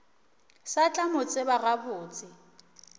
sa tla mo tseba gabotse